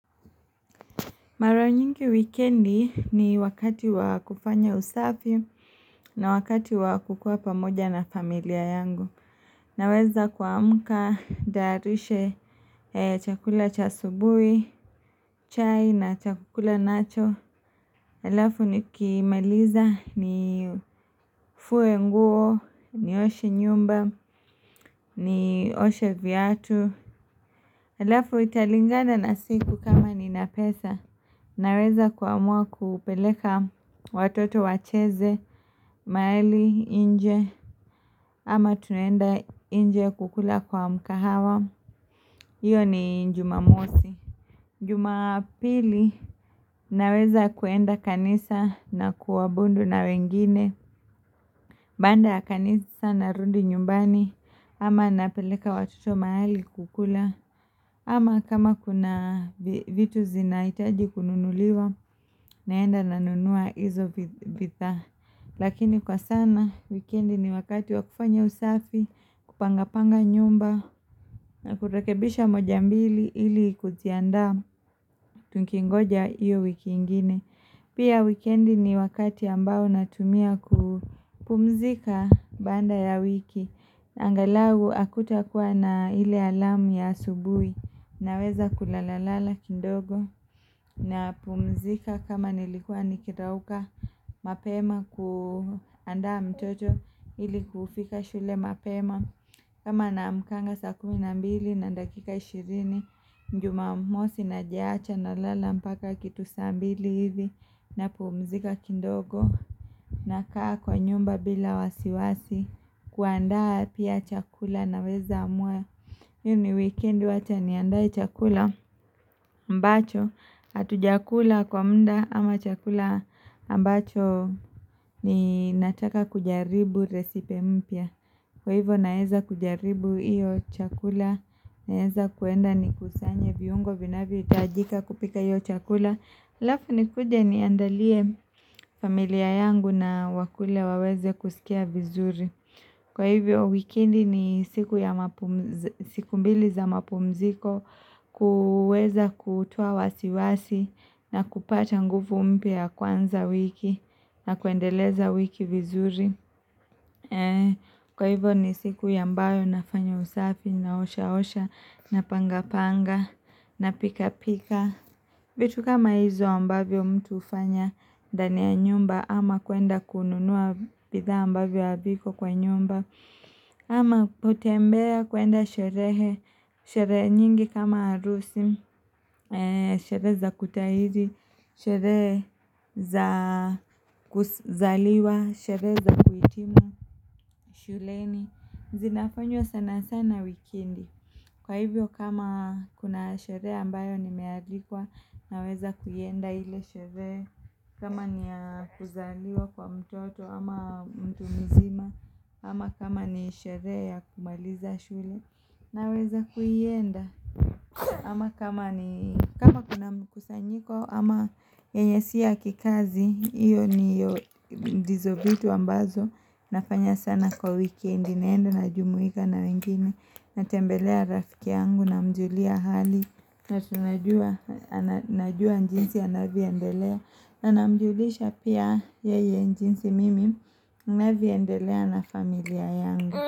Mara nyingi wikendi ni wakati wa kufanya usafi na wakati wa kukua pamoja na familia yangu. Naweza kuamka, ntayarishe chakula cha subui, chai na chakula nacho. Halafu nikimaliza nifue nguo, nioshe nyumba, nioshe viatu. Halafu italinganda na siku kama nina pesa naweza kuamua kupeleka watoto wacheze mahali nje ama tunaenda nje kukula kwa mkahawa iyo ni jumamosi Jumapili naweza kuenda kanisa na kuabundu na wengine Baanda ya kanisa narudi nyumbani ama napeleka watoto mahali kukula ama kama kuna vitu zinahitaji kununuliwa naenda nanunua hizo vi bidhaa Lakini kwa sana wikendi ni wakati wa kufanya usafi kupangapanga nyumba na kurekebisha moja mbili ili kuziandaa Tukingoja hiyo wiki ingine Pia wikendi ni wakati ambao natumia ku pumzika baanda ya wiki angalau hakutakuwa na ile alamu ya asubui Naweza kulala lala kidogo napumzika kama nilikua nikirauka mapema kuandaa mtoto ili kufika shule mapema kama naamkanga saa kumi na mbili na dakika ishirini jumamosi najiacha nalala mbaka kitu saa mbili hizi napumzika kindogo nakaa kwa nyumba bila wasiwasi kuandaa pia chakula naweza amua hii ni wikeni wacha niandae chakula ambacho hatujakula kwa mda ama chakula ambacho Ninataka kujaribu resipe mpya Kwa hivyo naeza kujaribu hiyo chakula, naeza kuenda nikusanye viungo vinavyohitajika kupika iyo chakula halafu nikuje niandalie familia yangu na wakule waweze kusikia vizuri Kwa hivyo wikendi ni siku ya mapumzi siku mbili za mapumziko kuweza kutua wasiwasi na kupata ngufu mpya ya kuanza wiki na kuendeleza wiki vizuri Kwa hivyo ni siku ya ambayo nafanya usafi naosha osha napanga panga napika pika vitu kama hizo ambavyo mtu hufanya ndani ya nyumba ama kuenda kununua bidhaa ambavyo haviko kwa nyumba ama kutembea kuenda sherehe, sherehe nyingi kama harusi, sherehe za kutahiri, sherehe za kuzaliwa, sherehe za kuhitimu shuleni zinafanywa sana sana wikendi Kwa hivyo kama kuna sherehe ambayo nimealikwa Naweza kuienda ile sherehe kama ni ya kuzaliwa kwa mtoto ama mtu mzima ama kama ni sherehe ya kumaliza shule Naweza kuienda ama kama ni kama kuna mkusanyiko ama yenye si ya kikazi hiyo ni yo ndizo vitu ambazo nafanya sana kwa weekendi naenda najumuika na wengine Natembelea rafiki yangu namjulia hali na tunajua najua jinsi anavyoendelea namjulisha pia yeye jinsi mimi ninavyoendelea na familia yangu.